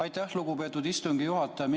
Aitäh, lugupeetud istungi juhataja!